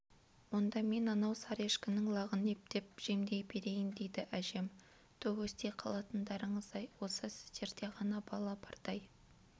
онда мен анау сары ешкінің лағын ептеп жемдей берейін дейді әжем түу өсти қалатындарыңыз-ай осы сіздерде ғана бала бардай